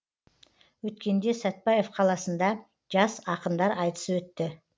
өткенде сәтпаев қаласында жас ақындар айтысы өтті